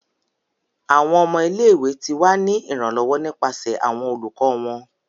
Awọn ọmọ ile-iwe ti wa ni iranlọwọ nipasẹ awọn olukọ wọn.